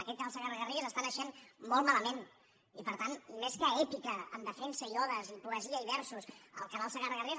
aquest canal segarra garrigues està naixent molt malament i per tant més que èpica en defensa i odes i poesia i versos el canal segarra garrigues